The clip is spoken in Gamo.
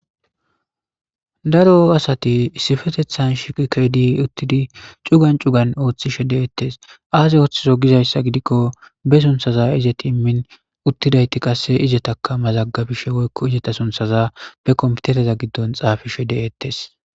Daro asati issifetethan shiqikedi uttidi cugan cugan ooththishe deettes aase ooththiso gizayssa gidikko be sunthaza izet immin uttidayti qasse izetaka mazaggabishe woykko izeta sunthaza be komitereza giddon xaafishe deettes